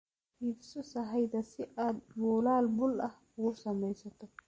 Iibso sahayda si aad buulal buul ah ugu samaysato.